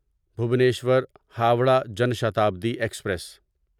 Bhubaneswar Howrah Jan Shatabdi express